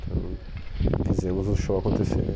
Então, fizemos o show acontecer.